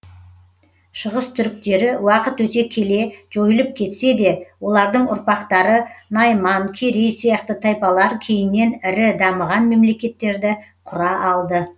шығыс түріктері уақыт өте келе жойылып кетсе де олардың ұрпақтары найман керей сияқты тайпалар кейіннен ірі дамыған мемлекеттерді құра алды